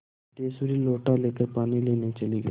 सिद्धेश्वरी लोटा लेकर पानी लेने चली गई